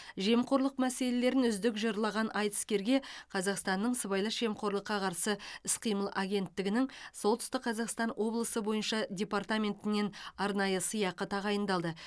жемқорлық мәселелерін үздік жырлаған айтыскерге қазақстанның сыбайлас жемқорлыққа қарсы іс қимыл агенттігінің солтүстік қазақстан облысы бойынша департаментінен арнайы сыйақы тағайындалды